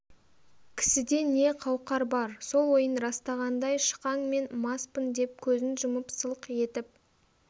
кісіде не қауқар бар сол ойын растағандай шықаң мен маспын деп көзін жұмып сылқ етіп